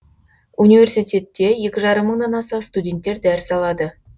университетте екі жаррым мыңнан аса студенттер дәріс алады